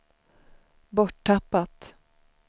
borttappat